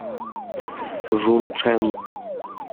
жунчэн